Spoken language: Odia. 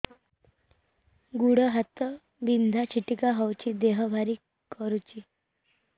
ଗୁଡ଼ ହାତ ବିନ୍ଧା ଛିଟିକା ହଉଚି ଦେହ ଭାରି କରୁଚି